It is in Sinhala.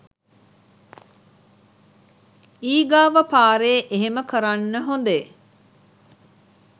ඊගාව පාර එහෙම කරන්න හොඳේ